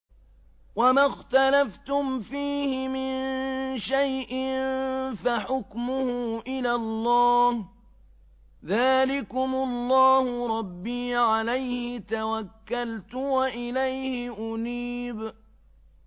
وَمَا اخْتَلَفْتُمْ فِيهِ مِن شَيْءٍ فَحُكْمُهُ إِلَى اللَّهِ ۚ ذَٰلِكُمُ اللَّهُ رَبِّي عَلَيْهِ تَوَكَّلْتُ وَإِلَيْهِ أُنِيبُ